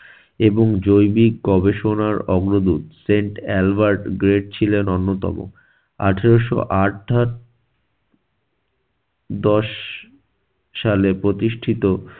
এবং জৈবিক গবেষণার অগ্রদূত sant albert great ছিলেন অন্যতম। আঠারশো আঠা~ দশ সালে প্রতিষ্ঠিত